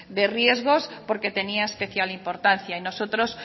de riesgos porque tenía especial importancia y nosotros